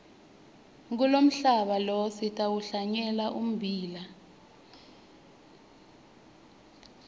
kulomhlaba lo sitawuhlanyela ummbila